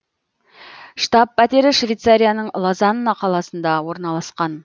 штаб пәтері швейцарияның лозанна қаласында орналасқан